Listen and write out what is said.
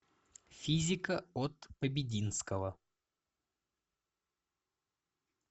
физика от побединского